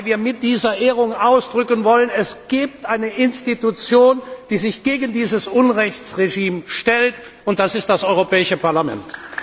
Denn wir wollen mit dieser Ehrung ausdrücken Es gibt eine Institution, die sich gegen dieses Unrechtsregime stellt, und das ist das Europäische Parlament.